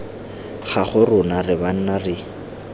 gago rona re banna re